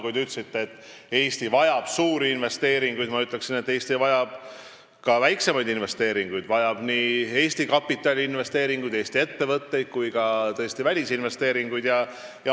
Kui te ütlesite, et Eesti vajab suuri investeeringuid, siis ma ütleksin, et Eesti vajab ka väiksemaid investeeringuid, st nii Eesti kapitali ja oma ettevõtteid kui ka välisinvesteeringuid.